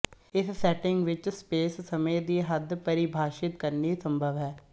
ਇਸ ਸੈੱਟਿੰਗ ਵਿੱਚ ਸਪੇਸ ਸਮੇਂ ਦੀ ਹੱਦ ਪਰਿਭਾਸ਼ਿਤ ਕਰਨੀ ਸੰਭਵ ਹੈ